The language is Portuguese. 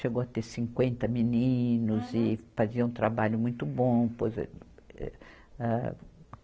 Chegou a ter cinquenta meninos e fazia um trabalho muito bom, pois eh, âh.